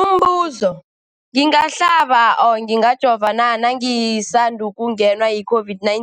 Umbuzo, ngingahlaba, ngingajova na nangisandu kungenwa yi-COVID-19?